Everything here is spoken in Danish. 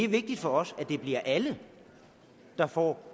vigtigt for os at det bliver alle der får